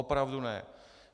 Opravdu ne.